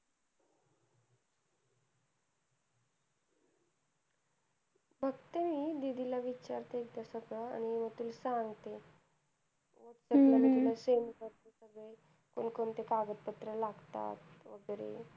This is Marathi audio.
बघते मी दीदीला विचारते, एकदा सगळं आणि तुला सांगते. त्यातलं मी तुला send करते. कोणकोणते कागदपत्र लागतात वगैरे.